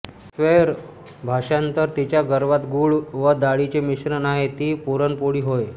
स्वैर भाषांतर जिच्या गर्भात गुळ व डाळीचे मिश्रण आहे ती पुर्णपोळी होय